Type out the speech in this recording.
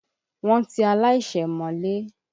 Wọ́n ti aláìṣẹ̀ mọ́lé.